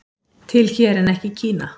Til hér en ekki í Kína